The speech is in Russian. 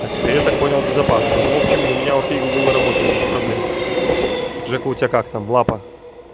а теперь я так понял безопасно но в общем у меня окей гугл работает без проблем жека у тебя как там лапа